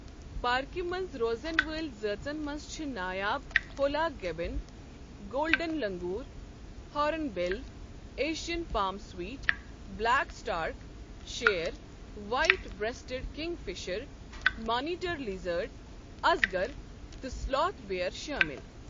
پارکہ منٛز روزن واجنٮ۪ن زٲژَن منٛز چھ نایاب hoolock gibbon, golden langur, horn bill, Asian palm civet, black stork, شیر، white breasted kingfisher, monitor lizard, ازگر تہٕ سلوتھ بیئر شٲمل۔